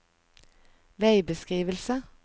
veibeskrivelse